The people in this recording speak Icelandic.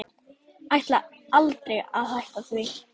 Ætlaði aldrei að hætta því.